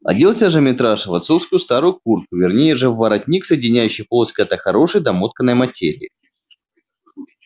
оделся же митраша в отцовскую старую куртку вернее же в воротник соединяющий полосы когда-то хорошей домотканной материи